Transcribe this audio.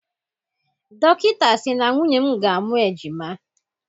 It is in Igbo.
Dọkịta sị na nwunye m ga-amụ ejima.